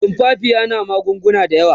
tumfafiya na magunguna da yawa